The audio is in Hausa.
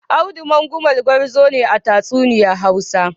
Audu Mangumal gwarzo ne a tatsuniyar Hausa.